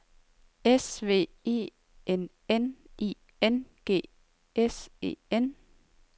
S V E N N I N G S E N